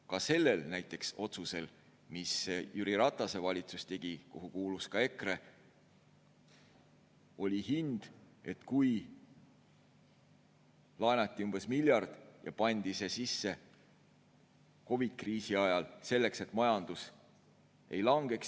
Ka näiteks sellel otsusel, mille tegi Jüri Ratase valitsus, kuhu kuulus ka EKRE, oli hind: laenati umbes miljard ja pandi see COVID‑i kriisi ajal, selleks et majandus ei langeks.